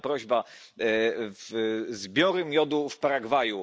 Jest jedna prośba zbiory miodu w Paragwaju.